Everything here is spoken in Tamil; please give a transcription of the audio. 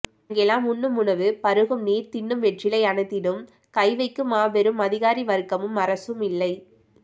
அங்கெல்லாம் உண்ணும் உணவு பருகும் நீர் தின்னும் வெற்றிலை அனைத்திலும் கைவைக்கும் மாபெரும் அதிகாரிவர்க்கமும் அரசும் இல்லை